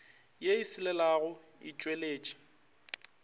ye e selelago e tšweletše